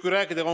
Kui rääkida